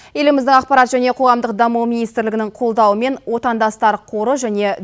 еліміздің ақпарат және қоғамдық даму министрлігінің қолдауымен отандастар қоры және